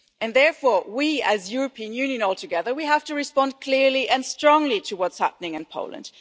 Therefore, as the European Union all together, we have to respond clearly and strongly to what is happening in Poland.